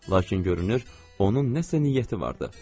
Lakin görünür, onun nəsə niyyəti vardı.